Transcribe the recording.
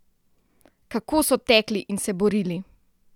Kako so tekli in se borili!